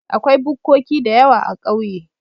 Akwai bukkoki dayawa a ƙauye